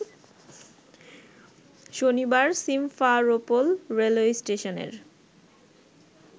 শনিবার Simferopol railway স্টেশনের